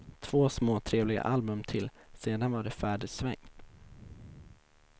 Två småtrevliga album till, sedan var det färdigsvängt.